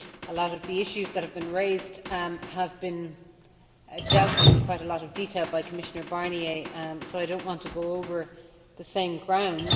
A lot of the issues that have been raised have been dealt with in quite a lot of detail by Commissioner Barnier, so I do not want to go over the same ground.